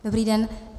Dobrý den.